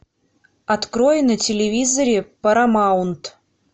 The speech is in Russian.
открой на телевизоре парамаунт